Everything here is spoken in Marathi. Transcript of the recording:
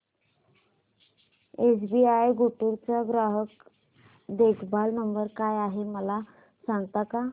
एसबीआय गुंटूर चा ग्राहक देखभाल नंबर काय आहे मला सांगता का